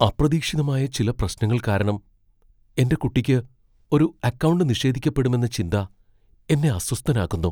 അപ്രതീക്ഷിതമായ ചില പ്രശ്നങ്ങൾ കാരണം എന്റെ കുട്ടിക്ക് ഒരു അക്കൗണ്ട് നിഷേധിക്കപ്പെടുമെന്ന ചിന്ത എന്നെ അസ്വസ്ഥനാക്കുന്നു.